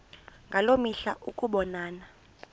ngaloo mihla ukubonana